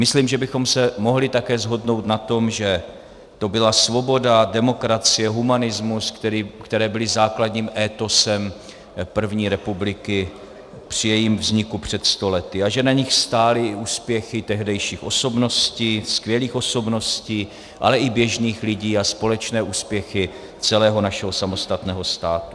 Myslím, že bychom se mohli také shodnout na tom, že to byla svoboda, demokracie, humanismus, které byly základním étosem první republiky při jejím vzniku před sto lety a že na nich stály úspěchy tehdejších osobností, skvělých osobností, ale i běžných lidí, a společné úspěchy celého našeho samostatného státu.